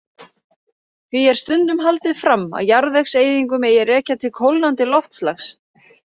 Því er stundum haldið fram að jarðvegseyðingu megi rekja til kólnandi loftslags.